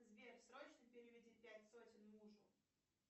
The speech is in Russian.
сбер срочно переведи пять сотен мужу